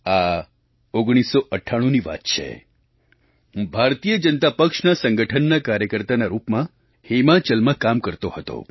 આ 1998ની વાત છે હું ભારતીય જનતા પક્ષના સંગઠનના કાર્યકર્તાના રૂપમાં હિમાચલમાં કામ કરતો હતો